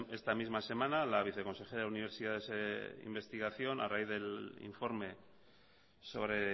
esta misma semana la viceconsejera de universidades e investigación a raíz del informe sobre